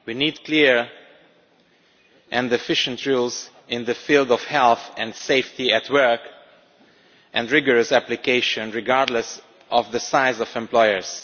We need clear and efficient rules in the field of health and safety at work and rigorous application regardless of the size of employers.